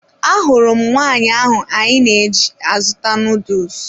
Ahụrụ m nwaanyị ahụ anyị na-eji azụta nuduls